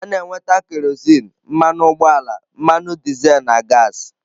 A na-enweta kerozin, mmanụ ugboala, mmanụ dizel na gaasị.